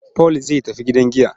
Paul zai tafi gidan giya.